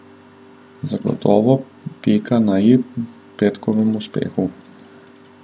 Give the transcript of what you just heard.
Zagotovo pika na i petkovemu uspehu.